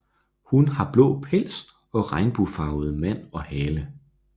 Hun har blå pels og regnbuefarvet man og hale